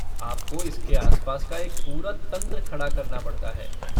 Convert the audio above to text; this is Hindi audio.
आपको इसके आस पास एक पूरा तंत्र खड़ा करना पड़ता हैं।